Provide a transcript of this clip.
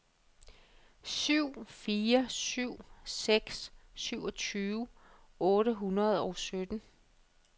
syv fire syv seks syvogtyve otte hundrede og sytten